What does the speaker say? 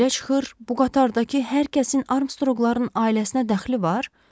Belə çıxır, bu qatardakı hər kəsin Armstrongların ailəsinə dəxli var?